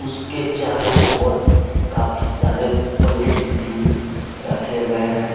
इसके के चारो ओर काफी सारे पलेट भी रखे गए हैं।